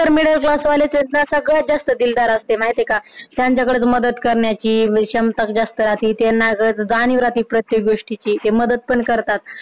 तर middle class वालेच आहेत ना सगळ्यात जास्त दिलदार असते माहिती आहे का, त्यांच्याकडे तर मदत करण्याची तर विषमताच जास्त राहते त्यांना कसं जाणीव राहते प्रत्येक गोष्टीची ते मदत पण करतात